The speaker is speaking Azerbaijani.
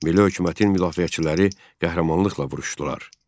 Milli hökumətin müdafiəçiləri qəhrəmanlıqla vuruşdular.